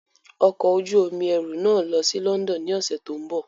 Ọkọ̀ ojú omi ẹrù náà ń lọ sí London ní ọ̀sẹ̀ tó ń bọ̀.